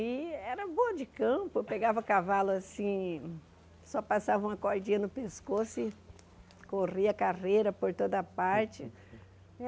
E era boa de campo, pegava cavalo assim, só passava uma cordinha no pescoço e corria carreira por toda parte.